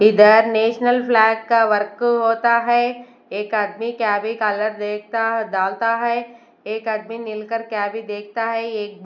इधर national flag का work होता है एक आदमी क्या भी कलर देखता डालता है एक आदमी मिलकर क्या भी देखता है एक--